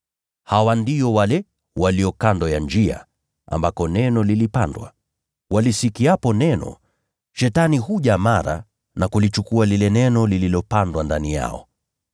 Hawa ndio wale walio kando ya njia ambako neno lilipandwa. Walisikiapo neno, Shetani huja mara na kulinyakua lile neno lililopandwa ndani yao.